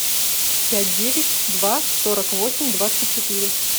пять девять два сорок восемь двадцать четыре